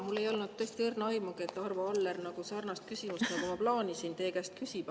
Mul ei olnud tõesti õrna aimugi, et Arvo Aller sarnase küsimuse, nagu ma plaanisin küsida, teie käest küsib.